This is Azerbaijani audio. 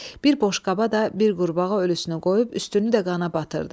Bir boş qaba da bir qurbağa ölüsünü qoyub üstünü də qana batırdı.